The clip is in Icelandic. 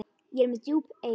Ég er með djúp eyru.